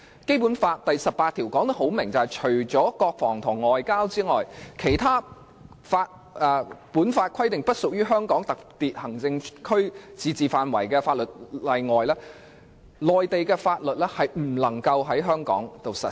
《基本法》第十八條清楚訂明，除國防、外交和其他按《基本法》規定不屬於香港特別行政區自治範圍的法律外，內地法律不能在香港實施。